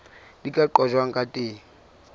di ka qojwang ka teng